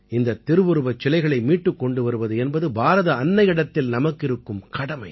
இந்தத் திருவுருவச் சிலைகளை மீட்டுக் கொண்டு வருவது என்பது பாரத அன்னையிடத்தில் நமக்கிருக்கும் கடமை